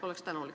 Oleksin tänulik.